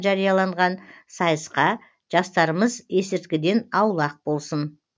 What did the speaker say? жарияланған сайысқажастарымыз есірткіден аулақ болсын